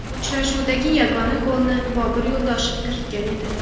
Uchrashuvdagi yagona golni Bobur Yo‘ldoshev kiritgan edi.